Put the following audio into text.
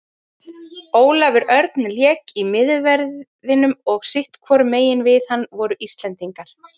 Ólafur Örn lék í miðverðinum og sitthvorum megin við hann voru Íslendingar.